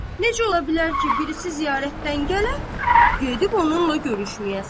Necə ola bilər ki, birisi ziyarətdən gələ, gedib onunla görüşməyəsən?